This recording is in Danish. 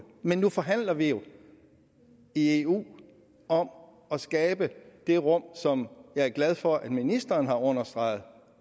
men nu forhandler vi jo i eu om at skabe det rum som jeg er glad for at ministeren har understreget